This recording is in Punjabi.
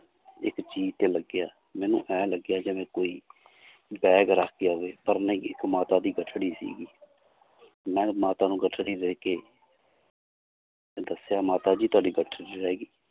ਇੱਕ ਚੀਜ਼ ਤੇ ਲੱਗਿਆ ਮੈਨੂੰ ਇਉਂ ਲੱਗਿਆ ਜਿਵੇਂ ਕੋਈ bag ਰੱਖ ਗਿਆ ਹੋਵੇ ਪਰ ਨਹੀਂ ਇੱਕ ਮਾਤਾ ਦੀ ਗਠੜੀ ਸੀਗੀ ਮੈਂ ਮਾਤਾ ਨੂੰ ਗਠੜੀ ਦੇ ਕੇ ਦੱਸਿਆ ਮਾਤਾ ਜੀ ਤੁਹਾਡੀ ਗਠੜੀ ਰਹਿ ਗਈ l